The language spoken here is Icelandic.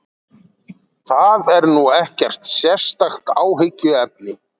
Það er nú ekkert sérstakt áhyggjuefni